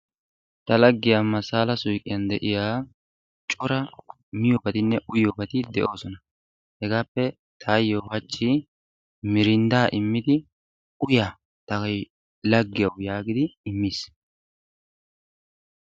Ta laaggiya masala suyqqiyaan de'iyaa cora miyobbatinne uyyiyoobagti de'oosona. hegappe taayyo miirindda immidi uyya ta laggiyaaw yaagidi immiis.